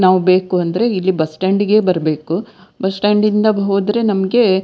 ನಾವು ಬೇಕು ಅಂದ್ರೆ ಇಲ್ಲಿ ಬಸ್ ಸ್ಟಾಂಡ್ ಗೆ ಬರ್ಬೇಕು ಬಸ್ ಸ್ಟಾಂಡ್ ಇಂದ ಹೋದ್ರೆ ನಮ್ಗೆ--